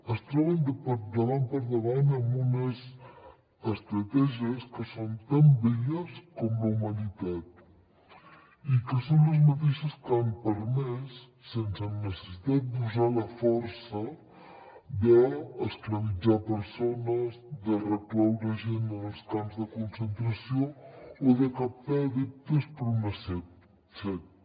es troben davant per davant amb unes estratègies que són tan velles com la humanitat i que són les mateixes que han permès sense necessitat d’usar la força d’esclavitzar persones de recloure gent en els camps de concentració o de captar adeptes per a una secta